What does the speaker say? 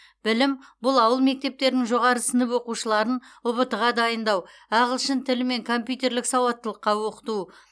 білім бұл ауыл мектептерінің жоғары сынып оқушыларын ұбт ға дайындау ағылшын тілі мен компьютерлік сауаттылыққа оқыту